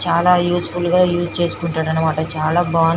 చాల ఉసెఫుల్ గ ఉస్ చేసుకున్తదనమాట చాల బాగుంది